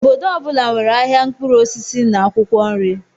Obodo ọ bụla nwere ahịa mkpụrụ osisi na akwụkwọ nri.